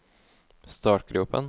startgropen